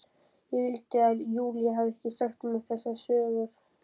Ég vildi að Júlía hefði ekki sagt mér þessar sögur.